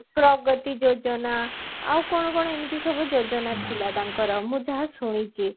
ପ୍ରଗତି ଯୋଜନା ଆଉ କଣ କଣ ଏମିତି ସବୁ ଯୋଜନା ଥିଲା ତାଙ୍କର ମୁଁ ଯାହା ଶୁଣିଚି